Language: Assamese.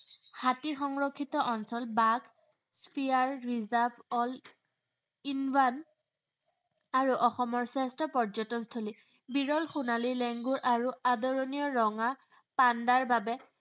হাতী সংৰক্ষিত অঞ্চল। বাঘ spear reserve all in one আৰু অসমৰ শ্ৰেষ্ঠ পৰ্যটন থলী। বিৰল সোণালী লেংগুৰ আৰু আদৰণীয় ৰঙা পাণ্ডাৰ বাবে